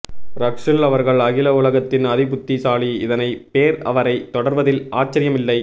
ரக்ஹ்ல் அவர்கள் அகில உலகத்தின் அதி புத்தி சாலி இதனை பேர் அவரை தொடர்வதில் ஆச்சரியம் இல்லை